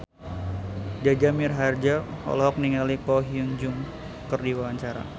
Jaja Mihardja olohok ningali Ko Hyun Jung keur diwawancara